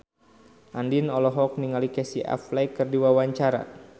Andien olohok ningali Casey Affleck keur diwawancara